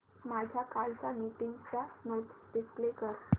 माझ्या कालच्या मीटिंगच्या नोट्स डिस्प्ले कर